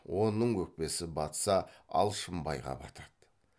оның өкпесі батса алшынбайға батады